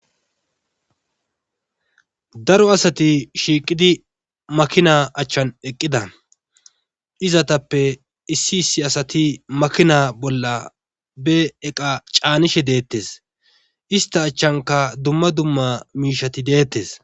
Daro asati shiiqidi makina achan eqqida izzatappe issi issi asati makina bolla be iqa caanishe deeetees istta achankka dumma dumma iqati deetees.